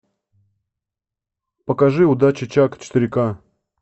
покажи удачи чак четыре ка